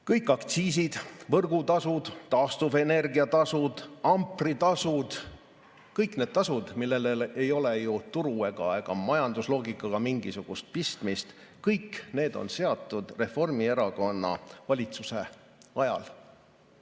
Kõik aktsiisid, võrgutasud, taastuvenergia tasud, ampritasud, kõik need tasud, millel ei ole ju turu ega majandusloogikaga mingisugust pistmist, kõik need on seatud Reformierakonna valitsuse ajal.